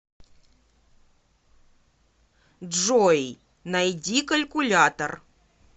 джой найди калькулятор